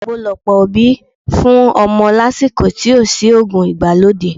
Àgbo lọ̀pọ̀ òbí fún ọmọ lásìkò tí ò sí òògùn ìgbàlódé